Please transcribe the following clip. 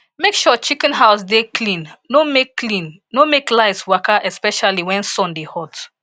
make sure chicken house dey clean no make clean no make lice waka especially when sun dey hot